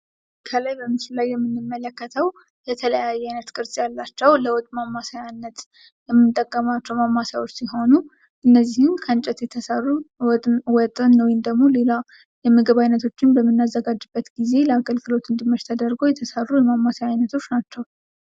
ከላይ በምስሉ ላይ የምንመለከተው የተለያየ አይነት ቅርፅ ያላቸው ለወጥ ማማሰያነት የምንጠቀማቸው ማማሰያዎች ሲሆኑ እነዚህም ከእንጨት የተሰሩ ወጥን ወይም ደግሞ ሌላ የምግብ አይነቶችን በመናዘጋጅበት ጊዜ ለአገልግሎት እንዲመች ተደርገው የተሰሩ የማማሰያ አይነቶች ናቸው።